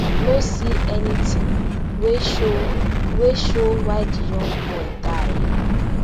no see anytin wey show wey show why di young boy die